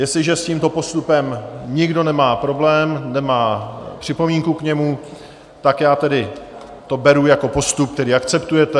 Jestliže s tímto postupem nikdo nemá problém, nemá připomínku k němu, tak já tedy to beru jako postup, který akceptujete.